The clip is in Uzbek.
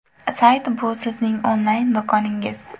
Sayt bu sizning onlayn do‘koningiz.